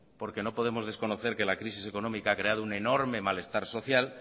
porque no podemos desconocer que la crisis económica ha creado un enorme malestar social